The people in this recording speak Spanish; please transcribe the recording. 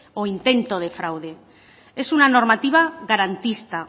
o intento de fraude es una normativa garantista